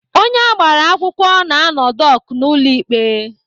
Onye agbara akwụkwọ na-anọ dọk n'ụlọ ikpe.